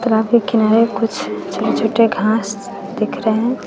Traffic किनारे कुछ छोटे छोटे घास दिख रहे हैं।